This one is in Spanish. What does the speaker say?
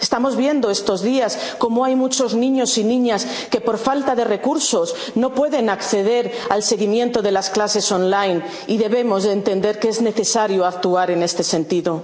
personas. Estamos viendo estos días cómo hay muchos niños y niñas que, por falta de recursos, no pueden acceder al seguimiento de las clases online y debemos entender que es necesario actuar en este